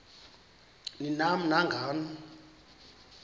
ni nam nangani